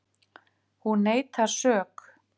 Hún neitar sök